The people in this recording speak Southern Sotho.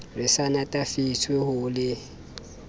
re sa natefetswe ho le